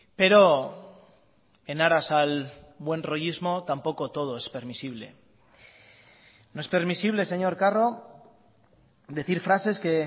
pero en aras al buen rollismo tampoco todo es permisible no es permisible señor carro decir frases que